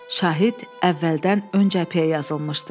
Şahid əvvəldən ön cəbhəyə yazılmışdı.